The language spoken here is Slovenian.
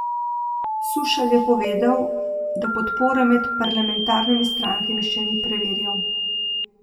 Sušelj je povedal, da podpore med parlamentarnimi strankami še ni preverjal.